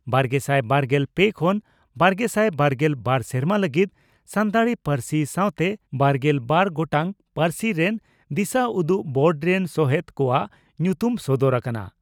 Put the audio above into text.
ᱵᱟᱨᱜᱮᱥᱟᱭ ᱵᱟᱨᱜᱮᱞ ᱯᱮ ᱠᱷᱚᱱ ᱵᱟᱨᱜᱮᱥᱟᱭ ᱵᱟᱨᱜᱮᱞ ᱵᱟᱨ ᱥᱮᱨᱢᱟ ᱞᱟᱹᱜᱤᱫ ᱥᱟᱱᱛᱟᱲᱤ ᱯᱟᱹᱨᱥᱤ ᱥᱟᱣᱛᱮ ᱵᱟᱨᱜᱮᱞ ᱵᱟᱨ ᱜᱚᱴᱟᱝ ᱯᱟᱹᱨᱥᱤ ᱨᱮᱱ ᱫᱤᱥᱟᱹᱩᱫᱩᱜ ᱵᱳᱨᱰ ᱨᱮᱱ ᱥᱚᱦᱮᱛ ᱠᱚᱣᱟᱜ ᱧᱩᱛᱩᱢ ᱥᱚᱫᱚᱨ ᱟᱠᱟᱱᱟ ᱾